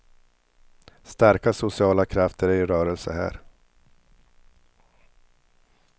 Starka sociala krafter är i rörelse här.